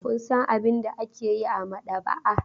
Kun san abin da ake yi a maɗaba'a?